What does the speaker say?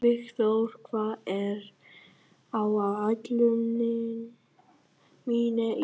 Vígþór, hvað er á áætluninni minni í dag?